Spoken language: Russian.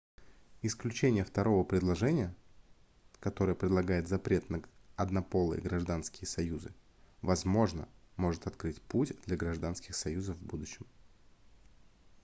исключение второго предложения которое предлагает запрет на однополые гражданские союзы возможно может открыть путь для гражданских союзов в будущем